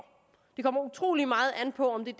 det kommer utrolig meget an på om det